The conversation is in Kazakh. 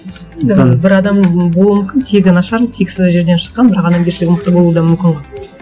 енді бір адам болуы мүмкін тегі нашар тексіз жерден шыққан бірақ адамгершілігі мықты болуы да мүмкін ғой